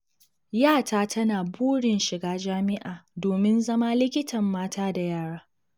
Yata tana burin shiga jami'a domin zama likitan mata da yara.